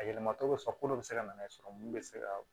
A yɛlɛmacogo bɛ sɔrɔ ko dɔ bɛ se ka nana ye sɔrɔ mun bɛ se ka